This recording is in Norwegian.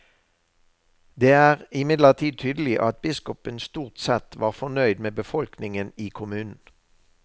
Det er imidlertid tydelig at biskopen stort sett var fornøyd med befolkningen i kommunen.